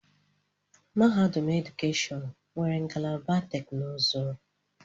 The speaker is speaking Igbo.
Mahadum edukeshọn nwere ngalaba teknụzụ.